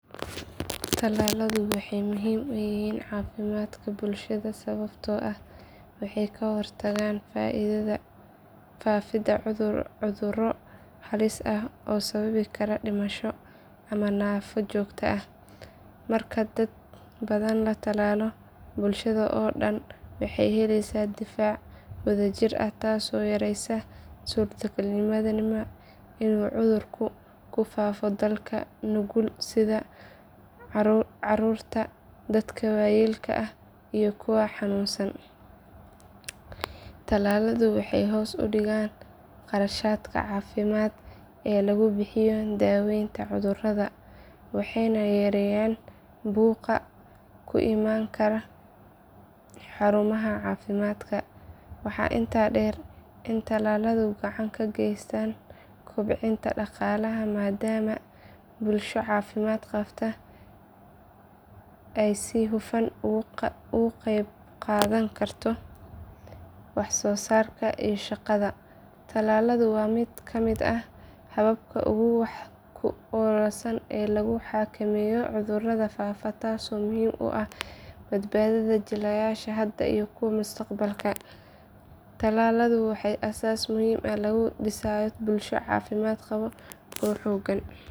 Tallaaladu waxay muhiim u yihiin caafimaadka bulshada sababtoo ah waxay ka hortagaan faafidda cudurro halis ah oo sababi kara dhimasho ama naafo joogto ah. Marka dad badan la tallaalo, bulshada oo dhan waxay helaysaa difaac wadajir ah taasoo yaraysa suurtagalnimada inuu cudurku ku faafo dadka nugul sida caruurta, dadka waayeelka ah iyo kuwa xanuunsan. Tallaaladu waxay hoos u dhigaan kharashaadka caafimaad ee lagu bixiyo daweynta cudurrada waxayna yareeyaan buuqa ku imaan kara xarumaha caafimaadka. Waxaa intaa dheer in tallaaladu gacan ka geystaan kobcinta dhaqaalaha maadaama bulsho caafimaad qabta ay si hufan uga qaybqaadan karto wax soo saarka iyo shaqada. Tallaaladu waa mid ka mid ah hababka ugu wax ku oolsan ee lagu xakameeyo cudurrada faafa taasoo muhiim u ah badbaadada jiilasha hadda iyo kuwa mustaqbalka. Tallaalku waa aasaas muhiim ah oo lagu dhisayo bulsho caafimaad qabta oo xooggan.